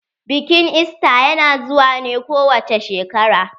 Bikin ista ya na zuwa ne kowace shekara.